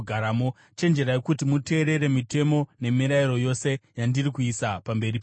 chenjerai kuti muteerere mitemo nemirayiro yose yandiri kuisa pamberi penyu nhasi.